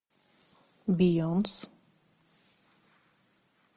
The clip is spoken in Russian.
бейонс